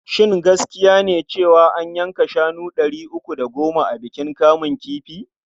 Shin gaskiya ne cewa an yanka shanu ɗari uku da goma a bikin kamun kifi?